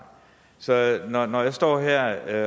så når når jeg står her